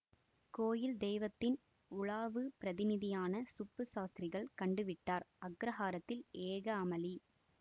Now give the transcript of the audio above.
கோயில் தெய்வத்தின் உலாவுப் பிரதிநிதியான சுப்பு சாஸ்திரிகள் கண்டுவிட்டார் அக்ரஹாரத்தில் ஏக அமளி